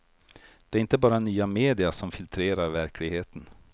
Det är inte bara nya media som filtrerar verkligheten.